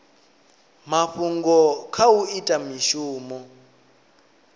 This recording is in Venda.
mafhungo kha u ita mishumo